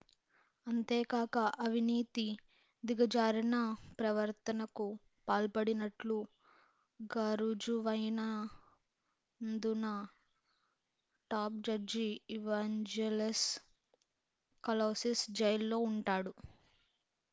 అంతేకాక అవినీతి దిగజారిన ప్రవర్తనకు పాల్పడినట్లు గారుజువైన ౦దున టాప్ జడ్జి ఇవాంజెలోస్ కలౌసిస్ జైల్లో ఉంటాడు